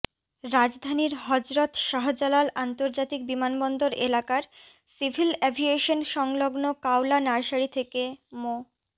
রাজধানীর হযরত শাহজালাল আন্তর্জাতিক বিমানবন্দর এলাকার সিভিল অ্যাভিয়েশন সংলগ্ন কাওলা নার্সারি থেকে মো